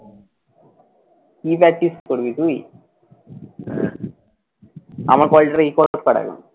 কী practice করবি তুই? আমার call টা record কর আগে।